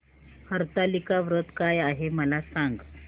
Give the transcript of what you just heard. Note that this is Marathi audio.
हरतालिका व्रत काय आहे मला सांग